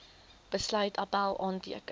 besluit appèl aanteken